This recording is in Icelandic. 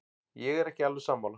Ég er ekki alveg sammála.